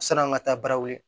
San'an ka taa baara wuli